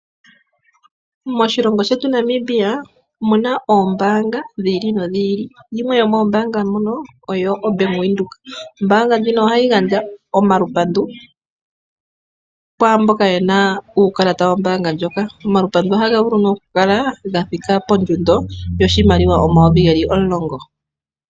Moshilongo shetu Namibia omuna oombaanga dhi ili nodhi ili, yimwe yomoombanga ndhino oyo Bank Windhoek. Ombaanga ndjino o ha yi gandja omapandulo kwaamboka ye na uukalata wombaanga ndjoka. Omapandulo oha ga vulu nee okukala gathika pondjundo yoshimaliwa omayovi ge li omulongo.